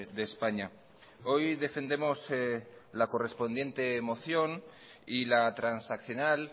de españa hoy defendemos la correspondiente moción y la transaccional